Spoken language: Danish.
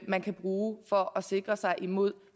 man kan bruge for at sikre sig imod